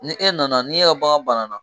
Ni e nana n'i y'a ye bagan banana